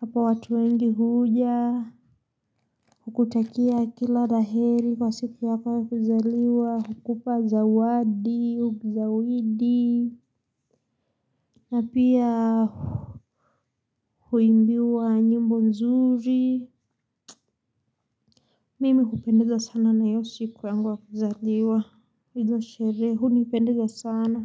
hapa watu wengi huja kukutakia kila ra heli kwa siku yako ya kuzaliwa hukupa zawadi ua zawidi. Na pia huimbiwa nyimbo nzuri. Mimi hupendezwa sana na hio siku yangu ya kuzaliwa. Hizo sherehe hunipendeza sana.